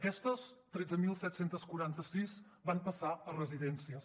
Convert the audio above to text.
aquestes tretze mil set cents i quaranta sis van passar a residències